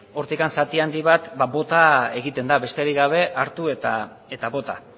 hortik zati handi bat bota egiten da besterik gabe hartu eta bota